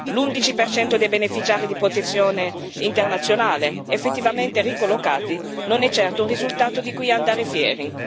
L'11 per cento dei beneficiari di protezione internazionale effettivamente ricollocati non è certo un risultato di cui andare fieri.